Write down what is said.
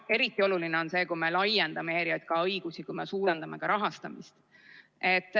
Eriti oluline on see, kui me laiendame ERJK õigusi, kui me suurendame ka rahastamist.